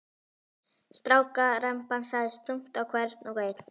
Strákaremban lagðist þungt á hvern og einn.